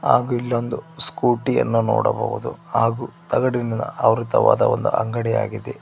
ಹಾಗೂ ಇನ್ನೊಂದು ಸ್ಕೂಟಿ ಯನ್ನು ನೋಡಬಹುದು ಹಾಗೂ ತಗಡಿನ ಆವೃತವಾದ ಒಂದು ಅಂಗಡಿಯಾಗಿದೆ.